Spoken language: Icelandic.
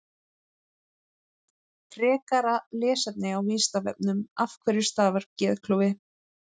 Frekara lesefni á Vísindavefnum Af hverju stafar geðklofi?